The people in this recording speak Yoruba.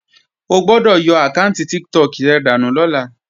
O gbọ́dọ̀ yọ àkáànti Tiktok rẹ dànù lọ́la!